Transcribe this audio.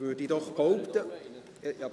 – Ich würde es behaupten.